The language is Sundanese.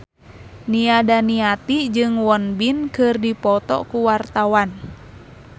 Nia Daniati jeung Won Bin keur dipoto ku wartawan